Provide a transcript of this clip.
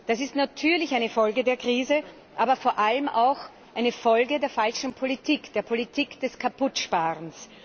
Das ist natürlich eine Folge der Krise, aber vor allem auch eine Folge der falschen Politik, der Politik des Kaputtsparens.